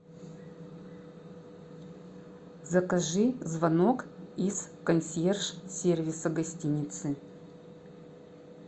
закажи звонок из консьерж сервиса гостиницы